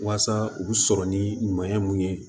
Waasa u bɛ sɔrɔ ni ɲɔɲɛ mun ye